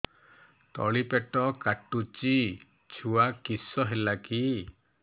ତଳିପେଟ କାଟୁଚି ଛୁଆ କିଶ ହେଲା କି